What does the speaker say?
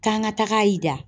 K'an ka taga i da